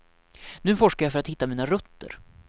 Nu forskar jag för att hitta mina rötter.